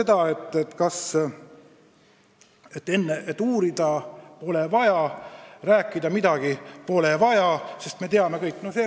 Nüüd, väita, et uurida pole vaja, rääkida pole midagi vaja – me teame niigi kõike.